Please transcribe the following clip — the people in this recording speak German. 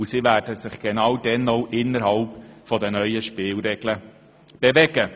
Die BKW wird sich dann auch innerhalb der neuen Spielregeln bewegen.